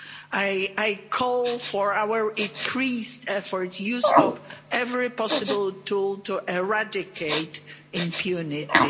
I call for our increased efforts, use of every possible tool to eradicate impunity.